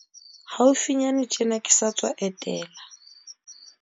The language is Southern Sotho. Haufinyane tjena, ke sa tswa etela